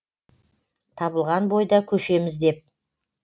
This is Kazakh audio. табылған бойда көшеміз деп